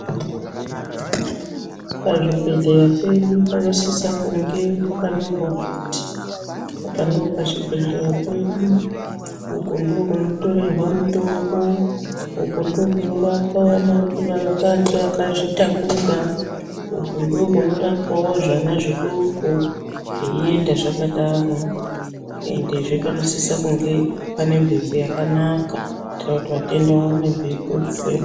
Pazvibhedhlera pedu panosise kunge pakanyorwa kuti, apa ndipo pachibhedhlera pedu, uku ndiko kunotorerwa mutombo, uku ndiko kunorapwa vakadzi vakazvitakura, uku ndiko kunorapwawo zvana zvidoko, zveienda zvakadaro. Endewo panosise kunge pane mhepo yakanaka, kuitira kuti vatenda vaone mhepo yekufema.